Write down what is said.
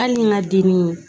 Hali ni n ka dimi